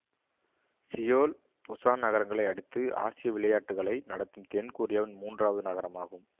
Seoul Busan நகரங்களை அடுத்து ஆசிய விளையாட்டுக்களை நடத்தும் தென் கொரியாவின் மூன்றாவது நகரமாகும்